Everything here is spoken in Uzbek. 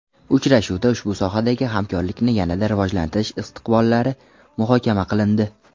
Uchrashuvda ushbu sohadagi hamkorlikni yanada rivojlantirish istiqbollari muhokama qilindi.